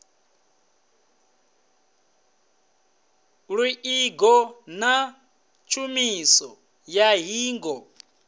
luṱingo na tshumiso ya ṱhingo